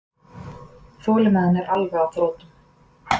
Þolinmæðin er alveg á þrotum